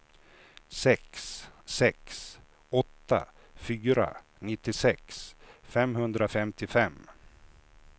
sex sex åtta fyra nittiosex femhundrafemtiofem